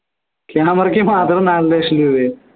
camera യ്ക്ക് മാത്രം നാലരലക്ഷം രൂപയോ